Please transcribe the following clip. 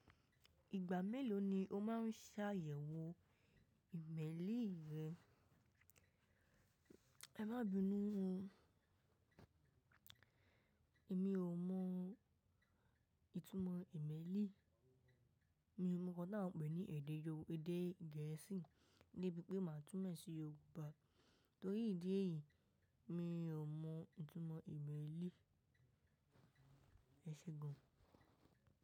Ìgbà mélòó ni o máa ń ṣàyẹ̀wò ìmẹ́lì rẹ? Ẹ má bínú mo, èmi ò mọ ìtumọ̀ ìmẹ́lì. Mi mo nkan ta wọ́n ń pè ní èdè yorùbá, èdè gẹ̀ẹ́sì, debí pé màá túmo e sí Yorùbá. Torí ìdí èyí, mi ò mọ ìtumọ̀ ìmẹ́lì. Ẹ ṣe gan.